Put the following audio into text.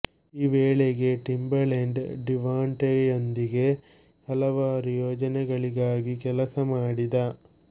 ಈ ವೇಳೆಗೆ ಟಿಂಬಲೆಂಡ್ ಡಿವಾಂಟೆಯೊಂದಿಗೆ ಹಲವಾರು ಯೋಜನೆಗಳಿಗಾಗಿ ಕೆಲಸ ಮಾಡಿದ